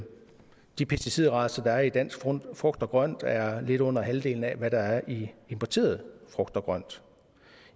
de pesticidrester der er i dansk frugt og grønt er lidt under halvdelen af hvad der er i importeret frugt og grønt